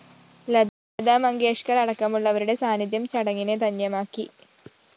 ലതാ മങ്കേഷ്‌കര്‍ അടക്കമുള്ളവരുടെ സാന്നിധ്യം ചടങ്ങിനെ ധന്യമാക്കി